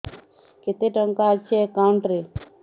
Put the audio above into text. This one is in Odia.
କେତେ ଟଙ୍କା ଅଛି ଏକାଉଣ୍ଟ୍ ରେ